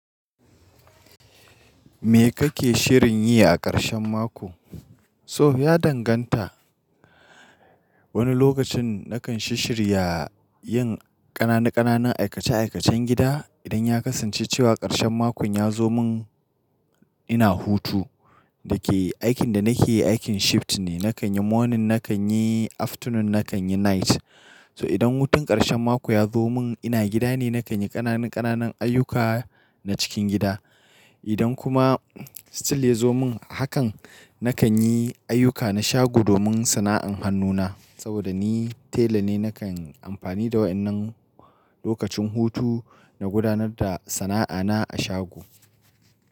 Me kake shirin yi a ƙarshen mako? So ya danganta. Wani lokacin na kan sisshshirya yin ƙananu- ƙananun aikace-aikacen gida idan ya kasance cewa ƙarshen makon ya zo mun ina hutu. Da ke aikin da na ke yi aikin shifting ne, na kan yi morning, na kan yi afternoon, na kan yi night. So idan hutun ƙarshen mako ya zo mun ina gida ne, na kan yi ƙananu-ƙananun ayyuka na cikin gida. Idan kuma still ya zo mun hakan, na kan yi ayyuka na shago domin sana'an hannuna. Saboda ni tela ne, na kan yi amfani da waƴannan lokacin hutu na gudanar da sana'ana a shago.